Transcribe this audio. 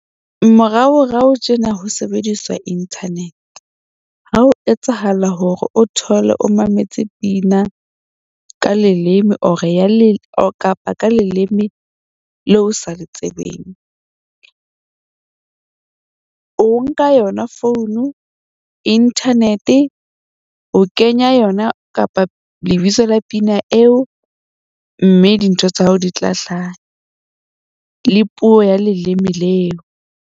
Moraorao tjena ho sebediswa internet. Ha ho etsahala hore o thole o mametse pina ka leleme or kapa ka leleme leo o sa le tsebeng. O nka yona founu internet o kenya yona kapa lebitso la pina eo. Mme dintho tsa hao di tla hlaha le puo ya leleme leo.